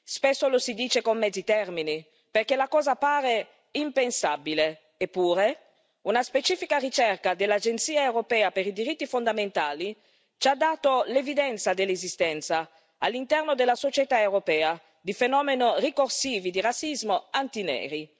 Spesso lo si dice con mezzi termini, perché la cosa pare impensabile eppure, una specifica ricerca dell'Agenza europea per i diritti fondamentali ci ha dato l'evidenza dell'esistenza, all'interno della società europea, di fenomeni ricorsivi di razzismo anti neri.